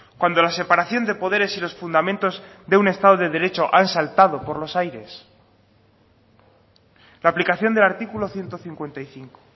cuando la separación de poderes y los fundamentos de un estado de derecho han saltado por los aires la aplicación del artículo ciento cincuenta y cinco